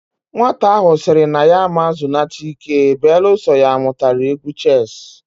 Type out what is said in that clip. Nwata ahu siri na ya ama zunata ike beeluso ya amutara egwu cheesuu